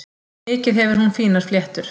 Mikið hefur hún fínar fléttur.